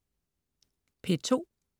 P2: